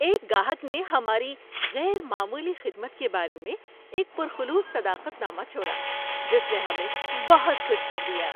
ایک گاہک نے ہماری غیر معمولی خدمت کے بارے میں ایک پر خلوص صداقت نامہ چھوڑا جس نے ہمیں بہت خوش کر دیا۔